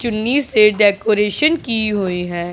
चुन्नी से डेकोरेशन की हुई है।